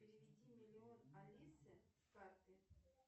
переведи миллион алисе с карты